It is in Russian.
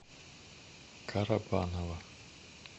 карабаново